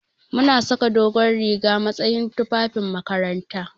Muna saka dogon riga a matsayin fufafin makaranta.